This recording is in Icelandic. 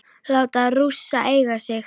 Láta Rússa eiga sig?